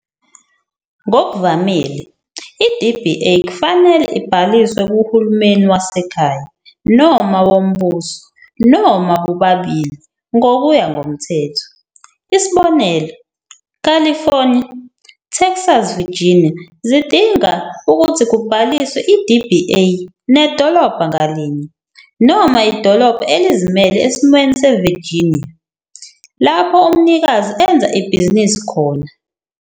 Ngokuvamile, i-DBA kufanele ibhaliswe kuhulumeni wasekhaya noma wombuso, noma bobabili, ngokuya ngomthetho. Isibonelo, California, Texas Virginia zidinga ukuthi kubhaliswe i-DBA nedolobha ngalinye, noma idolobha elizimele esimweni seVirginia, lapho umnikazi enza ibhizinisi khona.